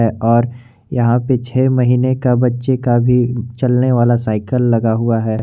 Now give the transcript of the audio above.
और यहां पे छ महीने का बच्चे का भी चलने वाला साइकल लगा हुआ है।